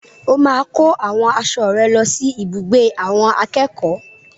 O máa kó àwọn aṣọ rẹ lọ sí ibùgbé àwọn akẹ́kọ̀ọ́.